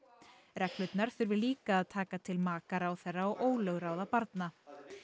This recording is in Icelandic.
reglurnar þurfi líka að taka til maka ráðherra og ólögráða barna